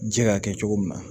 Ji ka kɛ cogo min na